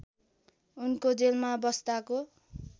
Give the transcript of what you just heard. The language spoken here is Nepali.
उनको जेलमा बस्दाको